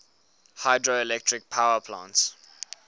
hydroelectric power plants